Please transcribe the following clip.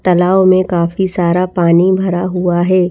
तलाव में काफी सारा पानी भरा हुआ है।